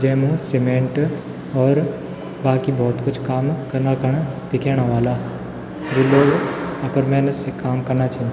GeM cement और बाकी भोत कुछ काम कना खन दिखेना वल्ला जू लोग अपर मेहनत से काम कना छिन।